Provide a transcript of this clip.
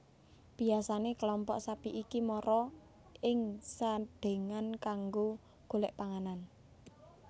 Biyasane kelompok sapi iki mara ing Sadengan kanggo golek panganan